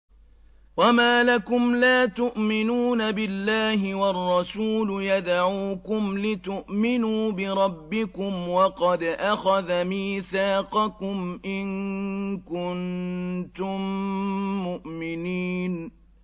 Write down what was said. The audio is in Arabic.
وَمَا لَكُمْ لَا تُؤْمِنُونَ بِاللَّهِ ۙ وَالرَّسُولُ يَدْعُوكُمْ لِتُؤْمِنُوا بِرَبِّكُمْ وَقَدْ أَخَذَ مِيثَاقَكُمْ إِن كُنتُم مُّؤْمِنِينَ